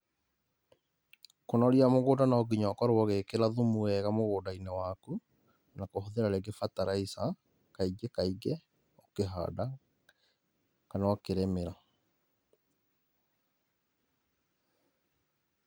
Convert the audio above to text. Kũnoria mũgũnda nonginya ũkorwo ũgĩkĩra thumu wega mũgũnda-inĩ waku nakũhũthĩra rĩngĩ fertilizer kaingĩ kaingĩ ũkĩhanda kana ũkĩrĩmĩra.